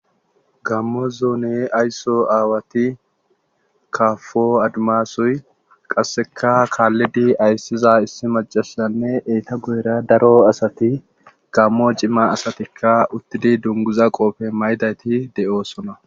Gamo zoone ayso aawati kafo adimaasuy qassekka kalidi ayssiza issi macassiyanne etta guyera daro asati gaamo cima asatikk utidi dungguza qoobiya mayizayti beetosona.